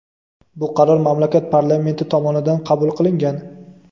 Bu qaror mamlakat parlamenti tomonidan qabul qilingan.